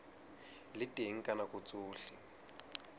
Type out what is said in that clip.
le teng ka nako tsohle